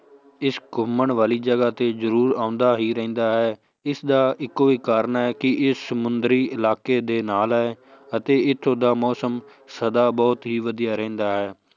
ਇਸ ਘੁੰਮਣ ਵਾਲੀ ਜਗ੍ਹਾ ਤੇ ਜ਼ਰੂਰ ਆਉਂਦਾ ਹੀ ਰਹਿੰਦਾ ਹੈ, ਇਸਦਾ ਇੱਕੋ ਇੱਕ ਕਾਰਨ ਹੈ ਕਿ ਇਹ ਸਮੁੰਦਰੀ ਇਲਾਕੇ ਦੇ ਨਾਲ ਹੈ ਅਤੇ ਇੱਥੋਂ ਦਾ ਮੌਸਮ ਸਦਾ ਬਹੁਤ ਹੀ ਵਧੀਆ ਰਹਿੰਦਾ ਹੈ